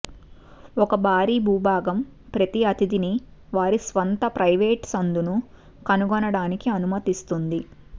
ఒక భారీ భూభాగం ప్రతి అతిధిని వారి స్వంత ప్రైవేటు సందును కనుగొనటానికి అనుమతిస్తుంది